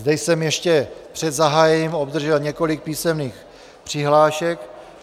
Zde jsem ještě před zahájením obdržel několik písemných přihlášek.